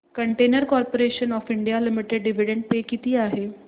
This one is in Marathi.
container corporation of India limited dividend पे किती आहे